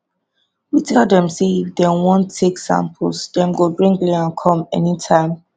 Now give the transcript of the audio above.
we tell dem say if dem wan take samples dem go bring liam come anytime